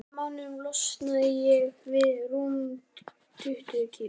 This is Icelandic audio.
Á þremur mánuðum losnaði ég við rúm tuttugu kíló.